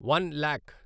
one lakh